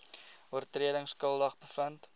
oortredings skuldig bevind